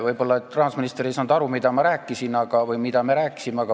Võib-olla rahandusminister ei saanud aru, mida ma rääkisin või mida me rääkisime.